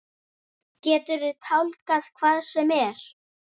Geturðu tálgað hvað sem er?